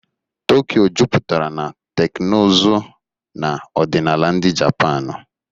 Tokyo juputara na teknụzụ na ọdịnala ndị Japanu.